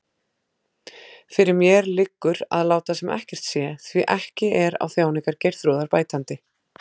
Fyrir mér liggur að láta sem ekkert sé, því ekki er á þjáningar Geirþrúðar bætandi.